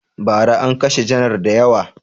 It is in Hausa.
Ba ra an kashe janar da yawa